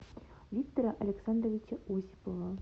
виктора александровича осипова